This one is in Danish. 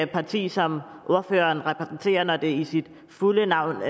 parti som ordføreren repræsenterer i sit fulde navn